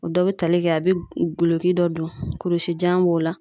O dɔ bɛ tali kɛ a bɛ goloki dɔ don, kurusi jan b'o la.